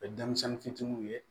Denmisɛnnin fitininw ye